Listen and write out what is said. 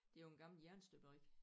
Det jo en gammel jernstøberi